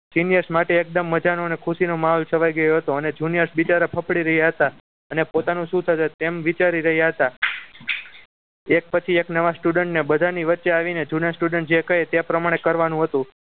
Senior માટે એકદમ મજાનો અને ખુશી નો માહોલ છવાઈ ગયો હતો અને junior બિચારા ફફડી રહ્યા હતા અને પોતાનું શું થશે એમ વિચારી રહ્યા હતા. એક પછી એક નવા student બધાની વચ્ચે આવીને જુના student જે કહે તે પ્રમાણે કરવાનું હતું